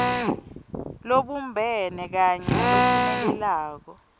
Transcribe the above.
lobumbene kanye nalophumelelako